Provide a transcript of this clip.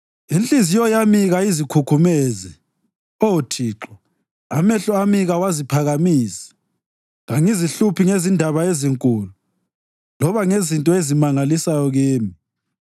Inhliziyo yami kayizikhukhumezi, Oh Thixo, amehlo ami kawaziphakamisi; kangizihluphi ngezindaba ezinkulu loba ngezinto ezimangalisayo kimi.